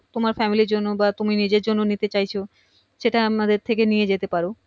তোমার family এর জন্যে বা তুমি নিজের জন্যে নিতে চাইছো সেটা আমাদের থেকে নিয়ে যেতে পারো